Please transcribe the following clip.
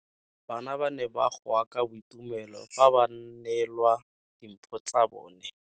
Bana ba ne ba goa ka boitumelo fa ba neelwa dimpho tsa bone.